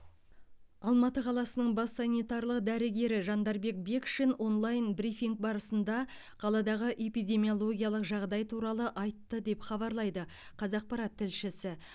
алматы қаласының бас санитарлық дәрігері жандарбек бекшин онлайн брифинг барысында қаладағы эпидемиологиялық жағдай туралы айтты деп хабарлайды қазақпарат тілшісі